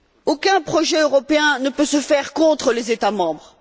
Aucun projet européen ne peut se faire contre les États membres.